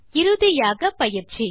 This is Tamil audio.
இறுதியாக பயிற்சி